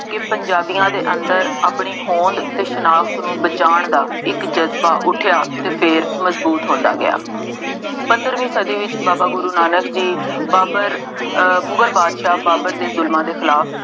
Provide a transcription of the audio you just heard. ਕਿ ਪੰਜਾਬੀਆਂ ਦੇ ਅੰਦਰ ਆਪਣੀ ਹੋਂਦ ਅਤੇ ਸਨਾਖਤ ਬਚਾਉਣ ਦਾ ਇੱਕ ਜ਼ਜ਼ਬਾ ਉੱਠਿਆ ਅਤੇ ਫੇਰ ਮਜ਼ਬੂਤ ਹੁੰਦਾ ਗਿਆ। ਪੰਦਰਵੀਂ ਸਦੀ ਵਿੱਚ ਬਾਬਾ ਗੁਰੂ ਨਾਨਕ ਜੀ, ਬਾਬਰ ਅਹ ਮੁਗਲ ਬਾਦਸ਼ਾਹ ਬਾਬਰ ਦੇ ਜ਼ੁਲਮਾਂ ਦੇ ਖਿਲਾਫ